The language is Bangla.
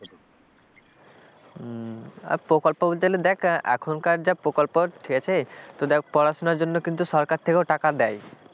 প্রকল্প বলতে গেলে দেখ এখনকার যা প্রকল্প ঠিক আছে তো দেখ পড়াশোনার জন্য কিন্তু সরকার থেকেও টাকা দেয়,